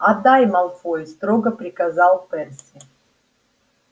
отдай малфой строго приказал перси